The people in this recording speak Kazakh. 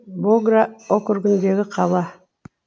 богра округіндегі қала